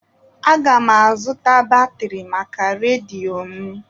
Aga m azụta batrị maka redio m.